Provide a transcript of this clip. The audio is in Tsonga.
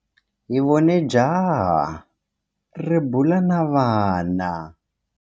Hi vone jaha ri bula na vana.